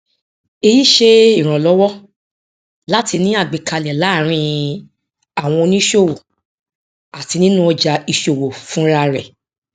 èyí ṣe ìrànlọwọ láti ní àgbékalẹ láàrin àwọn oníṣòwò àti nínú ọjà ìṣòwò fúnra rẹ